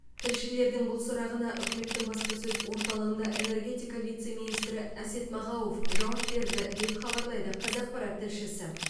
тілшілердің бұл сұрағына үкіметтің баспасөз орталығында энергетика вице министрі әсет мағауов жауап берді деп хабарлайды қазақпарат тілшісі